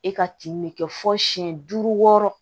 E ka tin ne kɛ fo siyɛn duuru